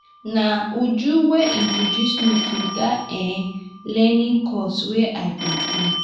na uju wey introduce me to dat um learning course wey i dey do